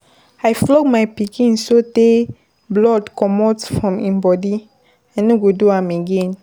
I flog my pikin so tey blood dey comot from im body. I no go do am again.